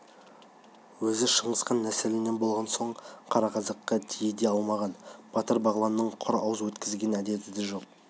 өзі шыңғыс хан нәсілінен болған соң қара қазаққа тие де алмаған батыр-бағланды құр ауыз өткізетін әдеті де жоқ